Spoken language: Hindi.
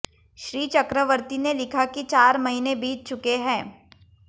श्री चक्रवर्ती ने लिखा कि चार महीने बीत चुके हैं